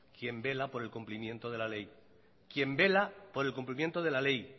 quien vela por el cumplimiento de la ley quien vela por el cumplimiento de la ley